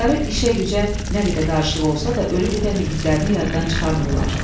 Başları işə-gücə nə qədər qarışıq olsa da, ölüb-bitən igidərini yaddan çıxarmırlar.